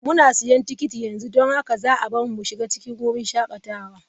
Muna siyan tikiti yanzu don haka za a bar mu mu shiga cikin wurin shakatawa.